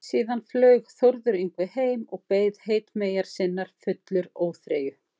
Síðan flaug Þórður Yngvi heim og beið heitmeyjar sinnar fullur óþreyju.